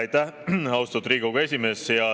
Aitäh, austatud Riigikogu esimees!